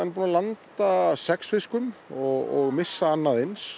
búinn að landa sex fiskum og missa annað eins